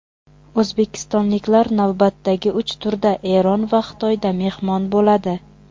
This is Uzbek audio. O‘zbekistonliklar navbatdagi uch turda Eron va Xitoyda mehmon bo‘ladi.